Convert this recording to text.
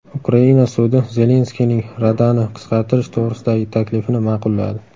Ukraina sudi Zelenskiyning Radani qisqartirish to‘g‘risidagi taklifini ma’qulladi.